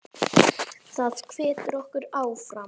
Það hvetur okkur áfram.